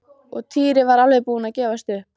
Og Týri var alveg búinn að gefast upp.